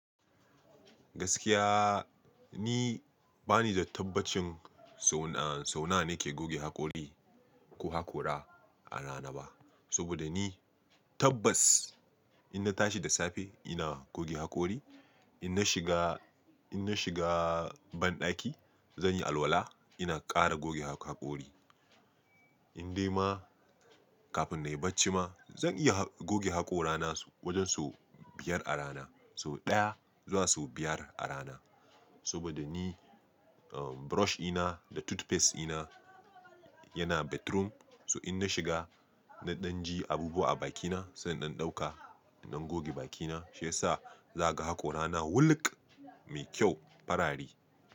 Gaskiya ni bani da tabbacin sau sau nawa nake goge haƙori ko haƙora a rana ba. Saboda ni tabbas in na tashi da safe ina goge haƙori, in na shiga, in na shiga banɗaki zan yi alwala ina ƙara goge haƙori. In dai ma kafin na yi bacci ma zan iya goge haƙora na wajen sau biyar a rana. Sau ɗaya zuwa sau biyar a rana. Saboda ni brush ina da toothpaste ina yana bedroom. Su in na shiga na ɗan ji abu a bakina sannan in ɗauka ina goge bakina. Shi yasa za ka ga haƙora na wulƙ, mai kyau, farari.